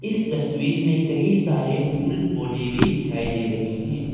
इस तस्वीर में कई सारे पूल पौधे भी दिखाई दे रहे हैं।